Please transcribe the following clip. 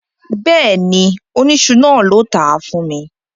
Bẹ́ẹ̀ni, oníṣu náà ló tàá fún mi